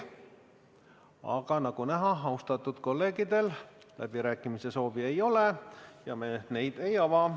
Aga nagu näha, austatud kolleegidel läbirääkimiste soovi ei ole, seega me neid ei ava.